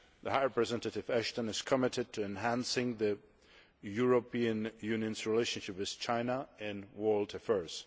High Representative Ashton is committed to enhancing the European Union's relationship with China in world affairs.